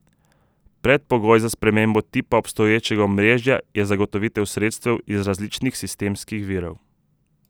Predpogoj za spremembo tipa obstoječega omrežja je zagotovitev sredstev iz različnih sistemskih virov.